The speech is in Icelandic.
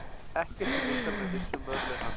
Ekkert er vitað með vissu um örlög hans.